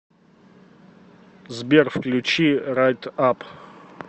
сбер включи райт ап